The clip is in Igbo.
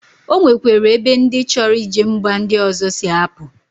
Onwekwere ebe ndi choro ije mba ndi ozo si apu